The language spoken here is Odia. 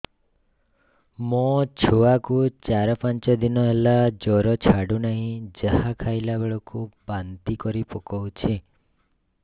ମୋ ଛୁଆ କୁ ଚାର ପାଞ୍ଚ ଦିନ ହେଲା ଜର ଛାଡୁ ନାହିଁ ଯାହା ଖାଇଲା ବେଳକୁ ବାନ୍ତି କରି ପକଉଛି